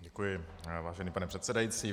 Děkuji, vážený pane předsedající.